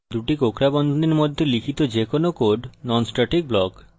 দুটি কোঁকড়া বন্ধনীর মধ্যে লিখিত যেকোনো code হল non static block